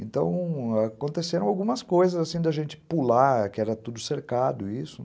Então, aconteceram algumas coisas, assim, da gente pular, que era tudo cercado, isso,